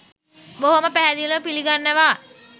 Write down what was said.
බොහොම පැහැදිලිව පිළිගන්නවා.